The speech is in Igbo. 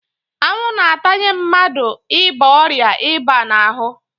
Anwụ na-atanye mmadụ ịba ọrịa ịba n'ahụ.